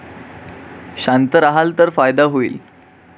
शांत राहाल तर फायदा होईल.